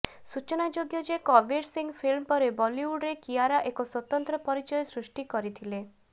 ସୂଚନାଯୋଗ୍ୟ ଯେ କବୀର ସିଂହ ଫିଲ୍ମ ପରେ ବଲିଉଡ୍ରେ କିଆରା ଏକ ସ୍ୱତନ୍ତ୍ର ପରିଚୟ ସୃଷ୍ଟି କରିଥିଲେ